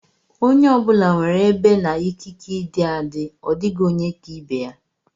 Onye ọ bụla nwere ebe na ikike ịdị adị; ọ dịghị onye ka ibe ya.